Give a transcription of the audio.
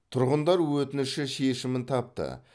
тұрғындар өтініші шешімін тапты